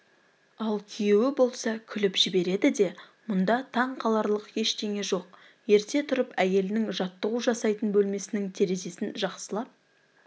ал күйеуі болса күліп жібереді де мұнда таңқаларлық ештеңе жоқ ерте тұрып әйелінің жаттығу жасайтын бөлмесінің терезесін жақсылап